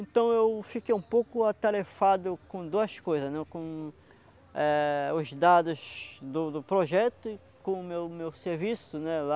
Então eu fiquei um pouco atarefado com duas coisas né, com eh os dados do do projeto e com o meu meu serviço lá.